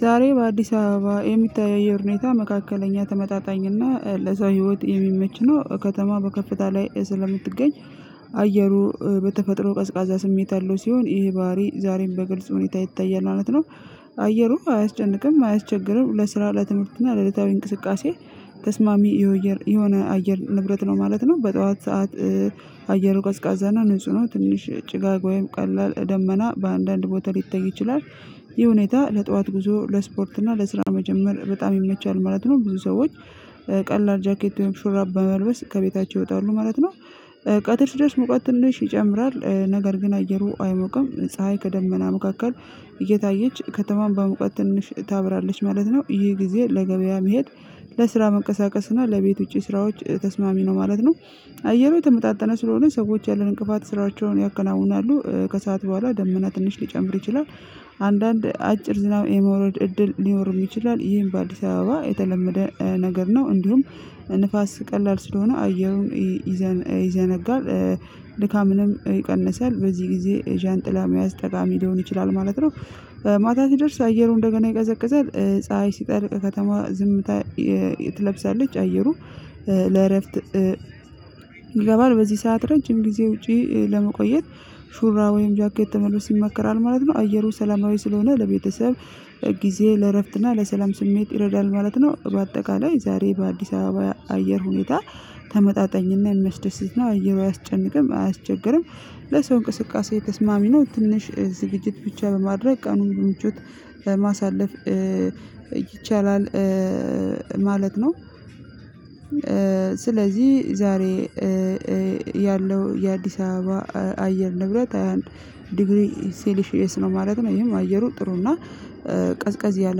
ዛሬ በአዲስ አበባ የሚታየው የአየር ሁኔታ መካከለኛ ተመጣጣኝ እና ለሰው ህይወት የሚመች ነው ከተማ በከፍታ ላይ ስለምትገኝ አየሩ በተፈጥሮ ቀዝቃዛ ስሜት አለው ሲሆን ይህ ባህሪ ዛሬም በግልጽ ሁኔታ ይታያል ማለት ነው አየሩ አያስጨንቅም አያስቸግርም ለስራ ለትምህርት እና ለዕለታዊ እንቅስቃሴ ተስማሚ የሆነ አየር ንብረት ነው ማለት ነው በጠዋት ሰዓት አየሩ ቀዝቃዛና ንጹህ ነው ትንሽ ጭጋግ ወይም ቀላል ደመና በአንዳንድ ቦታ ሊተይ ይችላል ይህ ሁኔታ ለጠዋት ጉዞ ለስፖርት እና ለስራ መጀመር በጣም ይመቻል ማለት ነው ብዙ ሰዎች ቀላል ጃኬት ሹራባ በመልበስ ከቤታቸው ይወጣሉ ማለት ነው ቀጥር ሲደርስ ሙቀት ትንሽ ይጨምራል፤ ነገር ግን አየሩ አይሞቅም። ፀሀይ ከደመና መካከል እየታየች ከተማም በሙቀት ትንሽ ታበራለች ማለት ነው። ይህ ጊዜ ለገበያ መሄድ፣ ለስራ መንቀሳቀስ እና ለቤት ውጪ ስራዎች ተስማሚ ነው ማለት ነው። አየሩ የተመጣጠነ ስለሆነ ሰዎች ያለን እንቅፋት ስራቸውን ያከናውናሉ ከሰአት በኋላ ደመና ትንሽ ሊጨምር ይችላል። አንዳንድ አጭር ዝናብ የመውረድ እድል ሊኖርም ይችላል። ይህም በአዲስ አበባ የተለመደ ነገር ነው። እንዲሁም ንፋስ ቀላል ስለሆነ አየሩን ይዘ ይዘነጋል። ድካምንም ይቀንሳል። በዚህ ጊዜ ዣንጥላ መያዝ ጠቃሚ ሊሆን ይችላል ማለት ነው። ማታ ሲደርስ አየሩ እንደገና ይቀዘቅዛል። ፀሀይ ሲጠልቅ ከተማ ዝምታ ትለብሳለች። አየሩ ለእረፍት ይገባል። በዚህ ሰዓት ረጅም ጊዜ ውጪ ለመቆየት ሹራ ወይም ጃኬት መልብስ ይመከራል ማለት ነው። አየሩ ሰላማዊ ስለሆነ ለቤተሰብ ጊዜ ለእረፍትና ለሰላም ስሜት ይረዳል ማለት ነው። በአጠቃላይ ዛሬ በአዲስ አበባ አየር ሁኔታ ተመጣጣኝና የሚያስደስት ነው። አየሩ አያስጨንቅም አያስቸግርም። ለሰው እንቅስቃሴ ተስማሚ ነው። ትንሽ ዝግጅት ብቻ በማድረግ ቀኑን በምቾት ማሳለፍ ይቻላል ማለት ነው። ስለዚህ ዛሬ ያለው የአዲስ አበባ አየር ንብረት ሃያ አንድ ዲግሪ ሲሊሽየስ ነው ማለት ነው። ይሄም አየሩ ጥሩ እና ቀዝቀዝ ያለ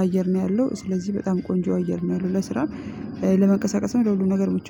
አየር ነው ያለው። ስለዚህ በጣም ቆንጆ አየር ነው ያለው ለስራ ለመንቀሳቀስም ለሁሉም ነገር ምቹ ነው።